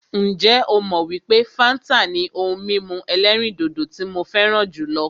Ǹjẹ́ ó mọ wípé fáńtà ni ohun mímu ẹ̀lẹ́rìndodò tí mo fẹràn jùlọ?